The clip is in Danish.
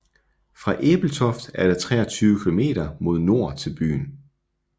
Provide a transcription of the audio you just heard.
Fra Ebeltoft er der 23 kilometer mod nord til byen